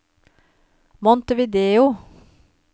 Montevideo